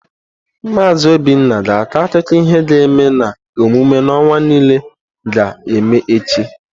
Maazi Obinna ga-akọ akụkọ ihe ga-eme na emume n'ụwa niile ga-eme echi.